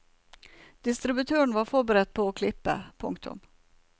Distributøren var forberedt på å klippe. punktum